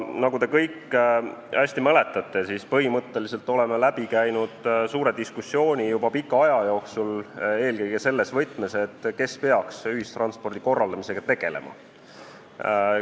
Nagu te kõik hästi mäletate, oleme põhimõtteliselt juba pika aja jooksul käinud läbi suure diskussiooni, eelkõige selles võtmes, et kes peaks ühistranspordi korraldamisega tegelema.